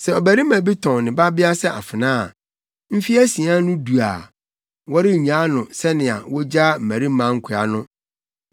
“Sɛ ɔbarima bi tɔn ne babea sɛ afenaa a, mfe asia no du a, wɔrennyaa no sɛnea wogyaa mmarima nkoa no.